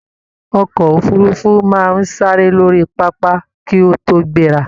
Ọkọ òfurùnfu máa n sáré lórí pápá ki o to gbera.